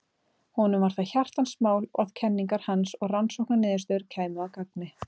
Honum var það hjartans mál að kenningar hans og rannsóknarniðurstöður kæmu að gagni.